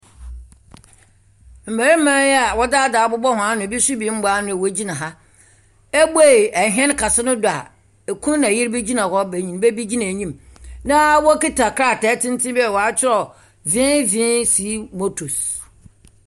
Mmarima yi a wɔdze adze abobɔ hɔn ano, ebi nso mbɔ ano wogyina ha. Woebuei hɛn kɛse no do a ekun na yer bi gyina hɔ, benyimba bi gyina enyim, na wokita krataa tsentsen bi a wɔatwerɛ VVC motors.